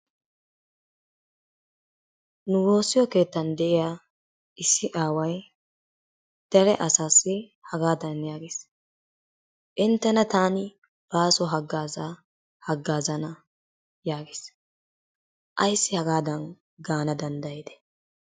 Nu woossiyo keettan de'iya issi aaway dere asaassi hagaadan yaagees. Inttena taani baaso haggaazaa haggaazana yaagees. Ayssi hagaadan gaana danddayidee?